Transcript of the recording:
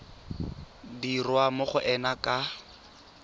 dirwa mo go ena ka